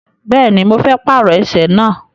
Bẹ́ẹ̀ni, mo fẹ́ pàrọ ẹsẹ̀ náà.